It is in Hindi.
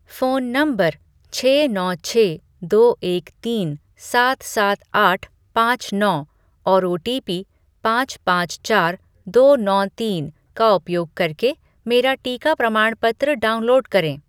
फ़ोन नंबर छः नौ छः दो एक तीन सात सात आठ पाँच नौ और ओटीपी पाँच पाँच चार दो नौ तीन का उपयोग करके मेरा टीका प्रमाणपत्र डाउनलोड करें